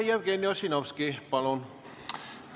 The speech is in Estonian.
Jevgeni Ossinovski, palun!